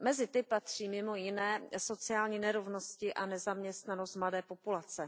Mezi ty patří mimo jiné sociální nerovnosti a nezaměstnanost mladé populace.